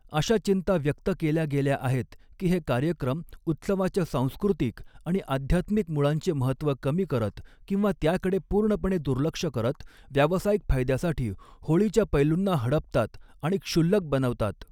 अशा चिंता व्यक्त केल्या गेल्या आहेत की हे कार्यक्रम उत्सवाच्या सांस्कृतिक आणि आध्यात्मिक मूळांचे महत्त्व कमी करत किंवा त्याकडे पूर्णपणे दुर्लक्ष करत, व्यावसायिक फायद्यासाठी होळीच्या पैलूंना हडपतात आणि क्षुल्लक बनवतात.